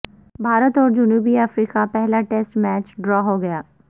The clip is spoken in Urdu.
بھارت اور جنوبی افریقہ پہلا ٹیسٹ میچ ڈرا ہو گیا